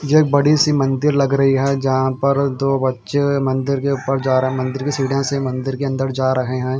ये बड़ी सी मंदिर लग रही है जहां पर दो बच्चे मंदिर के ऊपर जा रहे हैं मंदिर के सीड से मंदिर के अंदर जा रहे हैं।